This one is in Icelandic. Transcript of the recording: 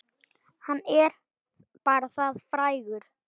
Hann er bara það frægur.